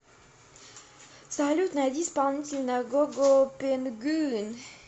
салют найди исполнителя гого пенгуин